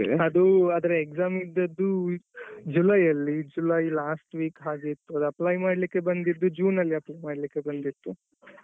ಅದು ಅದ್ರ exam ಇದ್ದದ್ದು ಜುಲೈ ಅಲ್ಲಿ ಜುಲೈ last week ಹಾಗೆ ಇರ್ಬೋದು ಅದು apply ಮಾಡ್ಲಿಕ್ಕೆ ಬಂದದ್ದು ಜೂನ್ ನಲ್ಲಿ apply ಮಾಡಕ್ಕೆ ಬಂದಿದ್ದು.